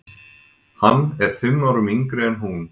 Hann er fimm árum yngri en hún.